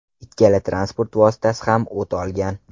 Ikkala transport vositasi ham o‘t olgan.